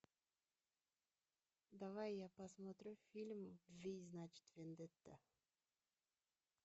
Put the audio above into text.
давай я посмотрю фильм в значит вендетта